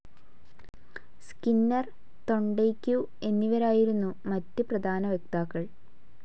Skinner, തൊണ്ടേയ്ക്കു എന്നിവരായിരുന്നു മറ്റു പ്രധാന വക്താക്കൾ.